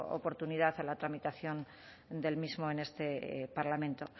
oportunidad en la tramitación del mismo en este parlamento